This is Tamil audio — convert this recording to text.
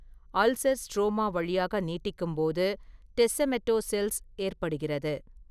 அல்சர் ஸ்ட்ரோமா வழியாக நீட்டிக்கும்போது டெஸ்செமெட்டோசெல்ஸ் ஏற்படுகிறது.